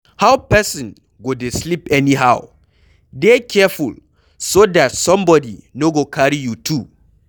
How person go dey sleep anyhow? Dey careful so dat somebody no go carry you tu.